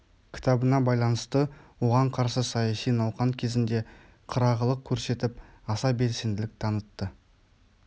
кітабына байланысты оған қарсы саяси науқан кезінде қырағылық көрсетіп аса белсенділік танытты